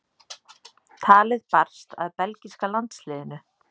Talið barst að belgíska landsliðinu.